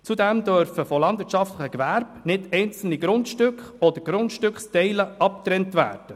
Zudem dürfen von landwirtschaftlichen Gewerben nicht einzelne Grundstücke oder Grundstücksteile abgetrennt werden;